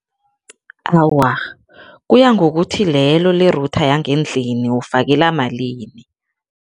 Awa, kuya ngokuthi lelo le-router yangendlini ufake lamalini.